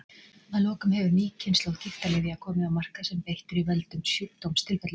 Að lokum hefur ný kynslóð gigtarlyfja komið á markað sem beitt er í völdum sjúkdómstilfellum.